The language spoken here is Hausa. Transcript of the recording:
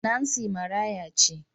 Nancy maraya ce.